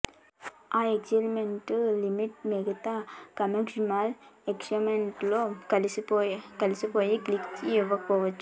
ఆ excitement element మిగతా commercial elements లో కలిసిపోయి కిక్ ఇవ్వకపోవచ్చు